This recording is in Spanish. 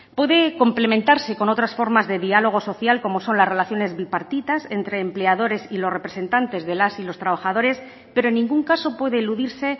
puede complementarse con otras formas de diálogo social como son las relaciones bipartitas entre empleadores y los representantes de las y los trabajadores pero en ningún caso puede eludirse